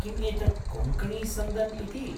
किम् एतत् कोङ्कणीसन्दन् इति?